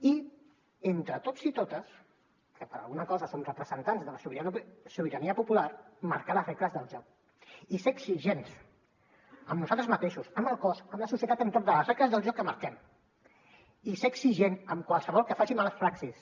i entre tots i totes que per alguna cosa som representants de la sobirania popular marcar les regles del joc i ser exigents amb nosaltres mateixos amb el cos amb la societat entorn de les regles del joc que marquem i ser exigent amb qualsevol que faci mala praxis